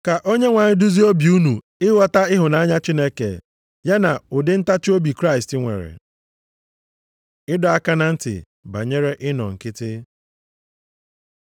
Ka Onyenwe anyị duzie obi unu ịghọta ịhụnanya Chineke ya na ụdị ntachiobi Kraịst nwere. Ịdọ aka na ntị banyere ịnọ nkịtị